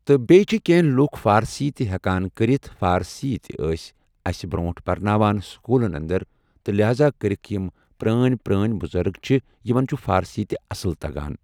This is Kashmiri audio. تہٕ بیٚیہِ چھِ کینٛہہ لُکھ فارسی تہِ ہٮ۪کان کٔرتھ فارسی تہِ ٲسۍ اسہِ برٛۄنٛٹھ پرناوان سکوٗلن انٛدر تہٕ لہٰزا کٔرتھ یِم پرٛٲنۍ پرٛٲنۍ بُزرٕگ چھِ یِمن چھُ فارسی تہِ اصل تگان۔